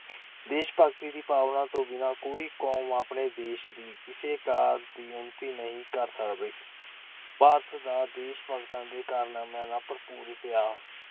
ਦੇਸ਼- ਭਗਤੀ ਦੀ ਭਾਵਨਾ ਤੋਂ ਬਿਨਾ ਕੋਈ ਕੰਮ ਆਪਣੇ ਦੇਸ ਦੀ ਕਿਸੇ ਕਾਰ ਦੀ ਉੱਨਤੀ ਨਹੀਂ ਕਰ ਸਕਦੀ। ਭਾਰਤ ਦਾ ਦੇਸ਼-ਭਗਤਾਂ ਦੇ ਕਾਰਨਾਮਿਆਂ ਨਾਲ ਭਰਪੂਰ ਇਤਿਹਾਸ-